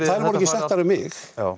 þær voru ekki settar um mig